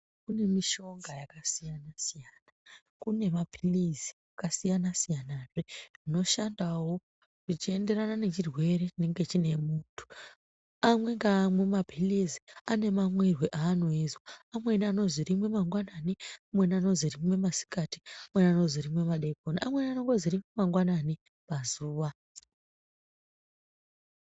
Kune mishonga yakasiyana siyana. Kune maphilizi akasiyana siyanazve anoshandawo zvichienderana ngechirwere chinenge chine muntu. Amwe ngaamwe maphilizi, ane mamwirwe aanoizwa. Amweni anozi rimwe mangwanani, amweni anozi rimwe masikati, amweni anozi rimwe madekona, amweni anongozi rimwe mangwanani pazuwa.